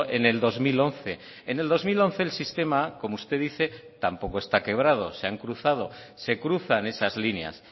en el dos mil once en el dos mil once el sistema como usted dice tampoco está quebrado se han cruzado se cruzan esas líneas